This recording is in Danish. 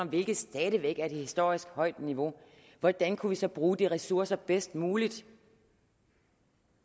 hvilket stadig væk et historisk højt niveau hvordan kunne vi så bruge de ressourcer bedst muligt